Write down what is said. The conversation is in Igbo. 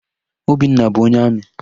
Obinna bụ onye amị.